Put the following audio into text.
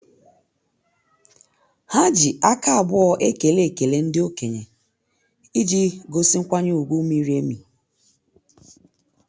Ha ji aka abụọ ekele ekele ndị okenye iji gosi nkwanye ùgwù miri emi.